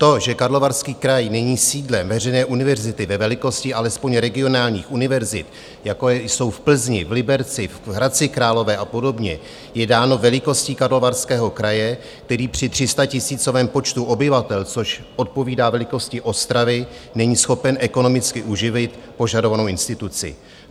To, že Karlovarský kraj není sídlem veřejné univerzity ve velikosti alespoň regionálních univerzit, jako jsou v Plzni, v Liberci, v Hradci Králové a podobně, je dáno velikostí Karlovarského kraje, který při 300 tisícovém počtu obyvatel, což odpovídá velikosti Ostravy, není schopen ekonomicky uživit požadovanou instituci.